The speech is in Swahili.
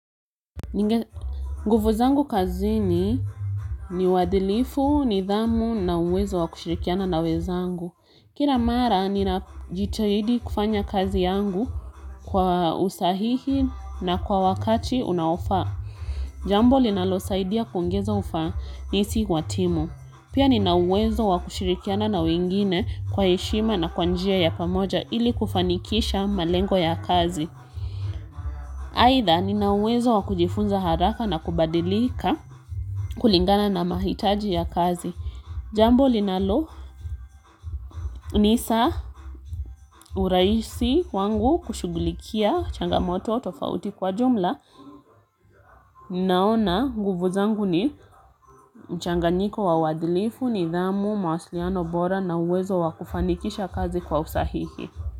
Nguvu zangu kazini ni wadilifu, nidhamu na uwezo wa kushirikiana na wezangu. Kila mara, ninajitahidi kufanya kazi yangu kwa usahihi na kwa wakati unaofa. Jambo linalo saidia kuongeza ufa nisi watimu. Pia ninauwezo wa kushirikiana na wengine kwa heshima na kwanjia ya pamoja ili kufanikisha malengo ya kazi. Haitha, ninauwezo wakujifunza haraka na kubadilika kulingana na mahitaji ya kazi. Jambo linalo, nisa uraisi wangu kushugulikia changamoto tofauti kwa jumla. Ninaona nguvu angu ni mchanganyiko wa wadilifu ni dhamu, mawasiliano bora na uwezo wakufanikisha kazi kwa usahihi.